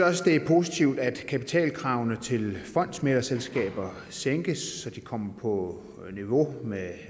også det er positivt at kapitalkravene til fondsmæglerselskaber sænkes så de kommer på niveau med